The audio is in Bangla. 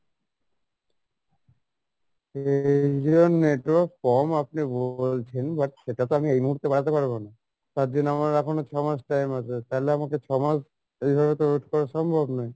network কম আপনি বলছেন but সেটা তো আমি এই মুহূর্তে বাড়াতে পারবো না, তার জন্য আমার এখনও ছমাস time আছে, তালে আমাকে ছমাস এইভাবে তো wait করা তো সম্ভব নয়।